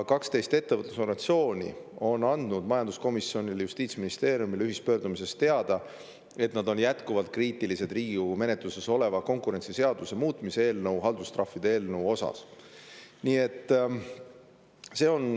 Kaksteist ettevõtlusorganisatsiooni on andnud ühispöördumises majanduskomisjonile ja Justiitsministeeriumile teada, et nad on jätkuvalt kriitilised Riigikogu menetluses oleva konkurentsiseaduse muutmise seaduse eelnõu, haldustrahvide eelnõu suhtes.